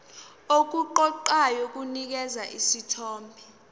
okuqoqayo kunikeza isithombe